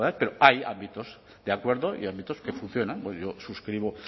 pero hay ámbitos de acuerdo y ámbitos que funcionan yo suscribo